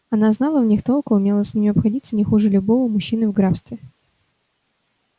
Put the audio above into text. она знала в них толк и умела с ними обходиться не хуже любого мужчины в графстве